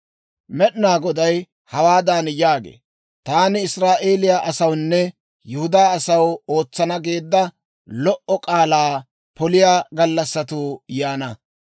Med'inaa Goday hawaadan yaagee; «Taani Israa'eeliyaa asawunne Yihudaa asaw ootsana geedda lo"o k'aalaa poliyaa gallassatuu yaana;